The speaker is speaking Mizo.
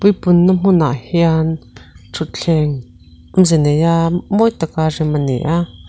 punna hmunah hian thuthleng awmze neia mawi taka rem a ni a.